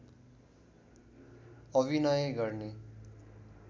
अभिनय गर्ने